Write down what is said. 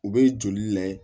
U bɛ joli lajɛ